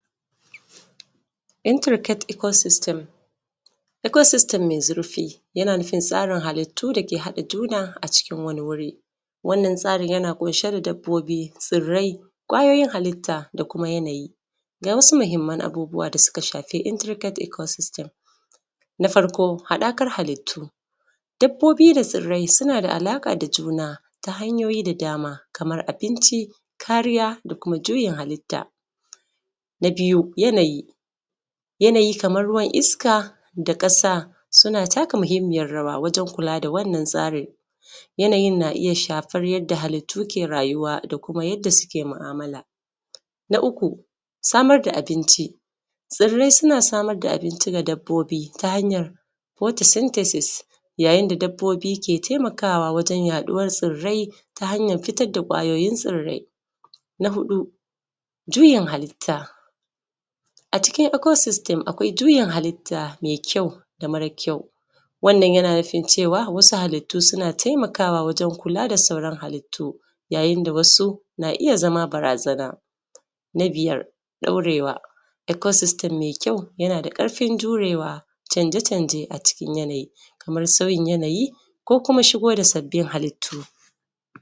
intricate Ecosystem. Ecosystem mai zurfi yana nufi tsarin halittu dake haɗe da juna a cikin wani wuri. Wannan tsarin yana kunshe da dabbobi tsirrai kwayoyin halitta da kuma yanayi da wasu mahimmai abubuwan na a intricate na Ecosystem. Na farko haɗakan halitta, dabbobi da tsirrai suna da alaƙa da juna ta hanyoyi da dama kamar abinci kariya da kuma juyin halitta. Na biyu yanayi, yanayi kamar iska da ƙasa suna taka muhimmiyar rawa wajen tsarin. Yanayin na iya shafar yadda halittu ke rayuwa ko yadda suke mu'amala. Na uku samar da abinci, tsirrai suna samar da abinci ga dabbobi ta hanyar photosynthesis yayin da dabbobi ke taimakawa wajen yaɗuwar tsirrai ta hanyar fitar da kwayoyi tsirrai. Na huɗu juyin halitta, a cikin Ecosystem juyin halitta mai ƙyau wannan yana nufi cewa wasu halittu suna taimakawa wajen kula da sauran halittu, yayin da wasu na iya zama barazana. Na biyar ɗaurewa .Eco system mai ƙyau yana da ƙarfin jurewa canje canje cikin sauyin yanayi ko kuma shigo da sabbin halitta